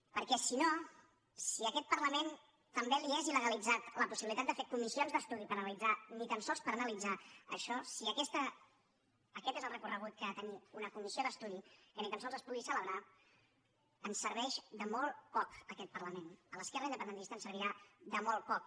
perquè si no si a aquest parlament també li és illegalitzada la possibilitat de fer comissions d’estudi per analitzar ni tan sols per analitzar això si aquest és el recorregut que ha de tenir una comissió d’estudi que ni tan sols es pugui celebrar ens serveix de molt poc aquest parlament a l’esquerra independentista ens servirà de molt poc